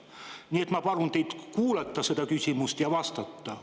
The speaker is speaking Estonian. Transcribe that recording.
Nii et ma palun teid kuulata seda küsimust ja vastata.